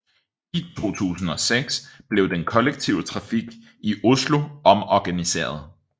I 2006 blev den kollektive trafik i Oslo omorganiseret